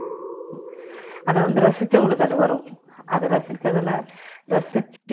அத வந்து ரசிச்சவங்களுக்கு அது வரும் அத ரசிச்சதுல ரசிச்சு~